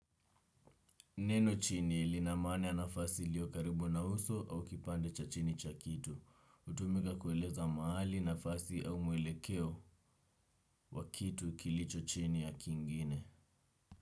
Neno chini ilina maana ya nafasi ilio karibu na uso au kipande cha chini cha kitu. Hutumika kueleza mahali, nafasi au muelekeo wa kitu kilicho chini ya kingine.